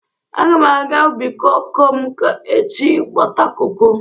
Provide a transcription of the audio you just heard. Aga m aga ubi koko m echi ịghọta koko.